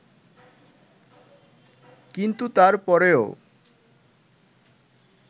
কিন্তু তার পরেও